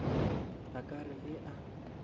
a ka re ge a